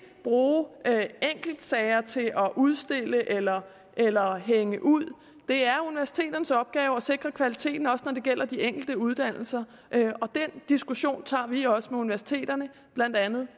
bruge enkeltsager til at udstille eller eller hænge ud det er universiteternes opgave at sikre kvaliteten også når det gælder de enkelte uddannelser og den diskussion tager vi også med universiteterne blandt andet